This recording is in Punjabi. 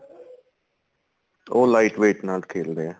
ਉਹ light weight ਨਾਲ ਖੇਲਦੇ ਏ